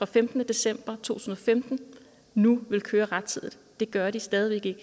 femtende december tusind og femten nu ville køre rettidigt det gør de stadig